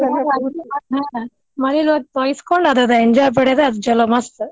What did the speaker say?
ಮಳಿ ಒಳಗ್ ತೊಯ್ಸ್ಕೊಂಡ್ ಅದರ enjoy ಪಡೋದ ಚುಲೊ ಮಸ್ತ್.